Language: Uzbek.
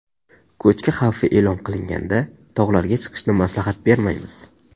Ko‘chki xavfi e’lon qilinganda tog‘larga chiqishni maslahat bermaymiz.